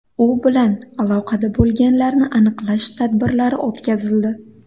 U bilan aloqada bo‘lganlarni aniqlash tadbirlari o‘tkazildi.